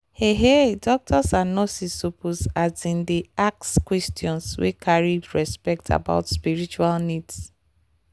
heh heh doctors and nurses suppose asin dey ask questions wey carry respect about spiritual needs